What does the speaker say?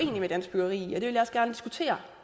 jo et valg